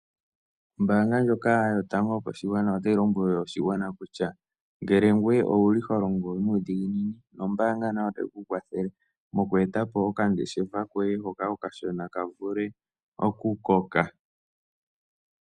Ombaanga ndjoka yotango yopashigwana otayi lombwele oshigwana kutya ngele ngoye owu li ho longo nuudhiginini nombaanga nayo otayi ku kwathele moku eta po okangeshefa koye hoka okashona ka vule okukoka.